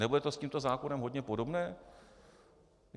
Nebude to s tímto zákonem hodně podobné?